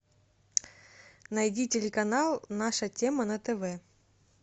найди телеканал наша тема на тв